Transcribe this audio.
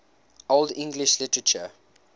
old english literature